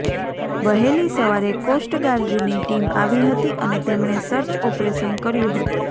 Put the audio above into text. વહેલી સવારે કોસ્ટગાર્ડની ટીમ આવી હતી અને તેમણે સર્ચ ઓપરેશન કર્યુ હતું